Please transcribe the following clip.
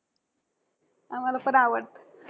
आम्हांला पण आवडतं.